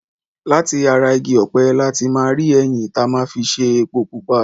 Láti ara igi ọ̀pẹ̀ láti máa rí ẹyìn ta máa fi ṣe epo pupa.